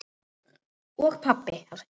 Og pabbi!